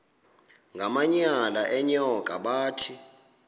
ngamanyal enyoka bathi